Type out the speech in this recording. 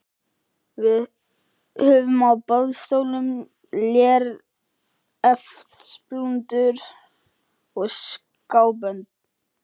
Við höfum á boðstólum léreftsblúndur og skábönd.